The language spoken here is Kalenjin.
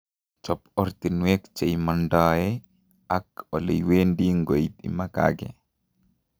Chob ortinwek che imandae ak oleiwendi nkoit imakake